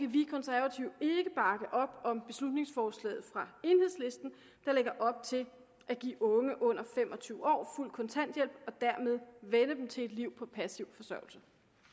vi konservative ikke bakke op om beslutningsforslaget fra enhedslisten der lægger op til at give unge under fem og tyve år fuld kontanthjælp og dermed vænne dem til et liv på passiv forsørgelse